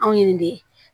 Anw ye nin de ye